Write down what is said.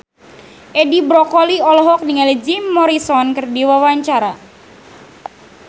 Edi Brokoli olohok ningali Jim Morrison keur diwawancara